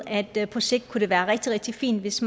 at det på sigt kunne være rigtig rigtig fint hvis